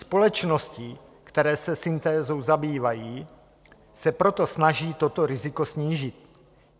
Společnosti, které se syntézou zabývají, se proto snaží toto riziko snížit.